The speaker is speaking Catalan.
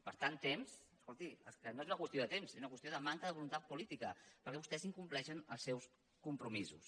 per tant temps escolti és que no és una qüestió de temps és una qüestió de manca de voluntat política perquè vostès incompleixen els seus compromisos